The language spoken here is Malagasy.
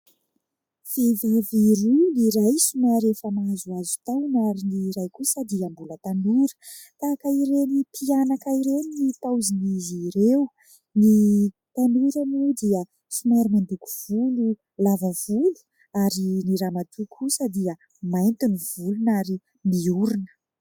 Vehivavy roa, ny iray somary efa nahazohazo taona ary ny iray kosa dia mbola tanora. Tahaka ireny mpianaka ireny ny paozin'izy ireo. Ny tanora moa dia somary mandoko volo lava volo ary ny ramatoa kosa dia mainty ny volony ary mihorona.